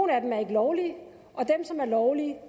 er ikke lovlige og dem som er lovlige